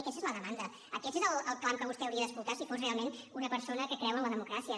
i aquesta és la demanda aquest és el clam que vostè hauria d’escoltar si fos realment una persona que creu en la democràcia